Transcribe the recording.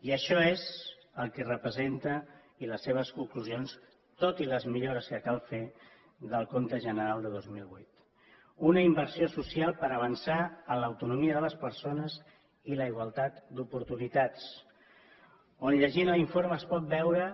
i això és el que representa i les seves conclusions tot i les millores que cal fer del compte general de dos mil vuit una inversió social per avançar en l’autonomia de les persones i la igualtat d’oportunitats on llegint l’informe es pot veure